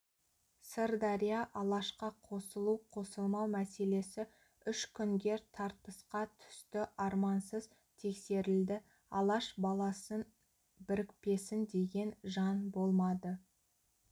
сырдария алашқа қосылу-қосылмау мәселесі үш күнге тартысқа түсті армансыз тексерілді алаш баласын бірікпесін деген жан болмады